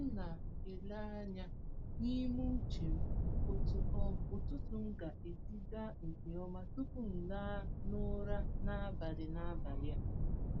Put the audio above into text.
M na-ele anya n’ime uche m otú um ụtụtụ m ga-esi gaa nke ọma tupu m laa n’ụra n’abalị n’abalị a.